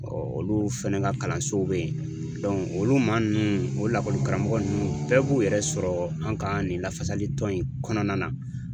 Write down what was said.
Ɔ olu fana ka kalansow bɛ yen olu maa ninnu o lakɔli karamɔgɔ ninnu bɛɛ b'u yɛrɛ sɔrɔ an ka nin lafasalitɔn in kɔnɔna na